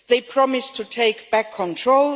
They promised to take back control